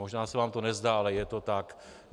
Možná se vám to nezdá, ale je to tak.